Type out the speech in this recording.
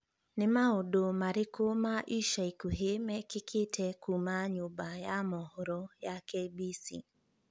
nĩ maũndu marĩkũ ma ica ikuhĩ mekĩkĩte kuuma nyumba ya mohoro ya K.B.C